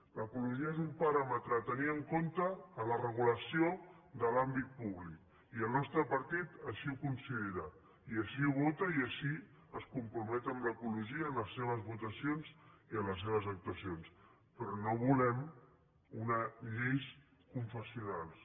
l’ecologia és un paràmetre a tenir en compte en la regulació de l’àmbit públic i el nostre partit així ho considera i així ho vota i així es compromet amb l’ecologia en les seves votacions i en les seves actuacions però no volem unes lleis confessionals